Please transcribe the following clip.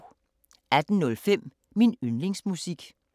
18:05: Min yndlingsmusik